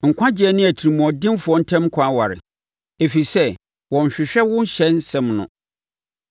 Nkwagyeɛ ne atirimuɔdenfoɔ ntam kwan ware, ɛfiri sɛ wɔnhwehwɛ wo ɔhyɛ nsɛm no.